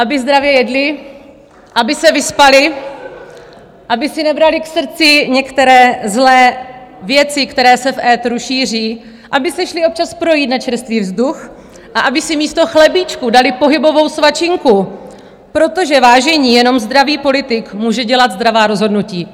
Aby zdravě jedli, aby se vyspali, aby si nebrali k srdci některé zlé věci, které se v éteru šíří, aby se šli občas projít na čerstvý vzduch a aby si místo chlebíčku dali pohybovou svačinku, protože vážení, jenom zdravý politik může dělat zdravá rozhodnutí.